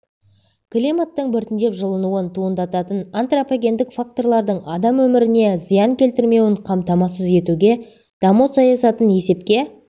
климаттың біртіндеп жылынуын туындататын антропогендік факторлардың адам өміріне зиян келтірмеуін қамтамасыз етуге даму саясатын есепке